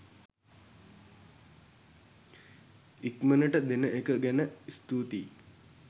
ඉක්මනට දෙන එක ගැන ස්තුතියි.